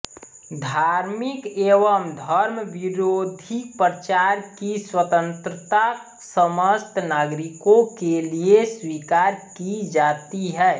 धार्मिक एवं धर्मविरोधी प्रचार की स्वतंत्रता समस्त नागरिकों के लिए स्वीकार की जाती है